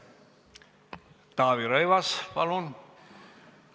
Taavi Rõivas, palun!